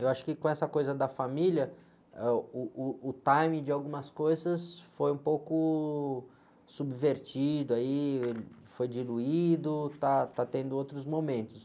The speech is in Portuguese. Eu acho que com essa coisa da família, ãh, uh, uh, o timing de algumas coisas foi um pouco subvertido, aí, foi diluído, está, está tendo outros momentos.